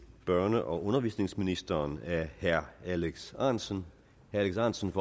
børne og undervisningsministeren af herre alex ahrendtsen ahrendtsen